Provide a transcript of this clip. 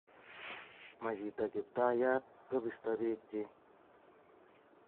ma chito kiptayat kobisto biikchich